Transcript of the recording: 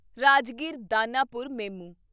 Rajgir Danapur MEMU